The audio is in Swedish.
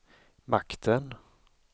makten